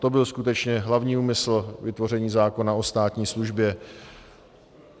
To byl skutečně hlavní úmysl vytvoření zákona o státní službě.